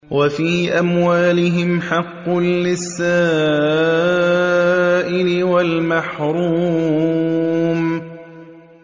وَفِي أَمْوَالِهِمْ حَقٌّ لِّلسَّائِلِ وَالْمَحْرُومِ